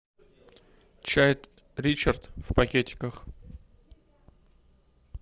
чай ричард в пакетиках